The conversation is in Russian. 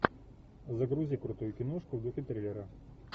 загрузи крутую киношку в духе триллера